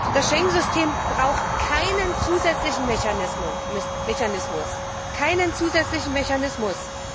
Das Schengen System braucht keinen zusätzlichen Mechanismus.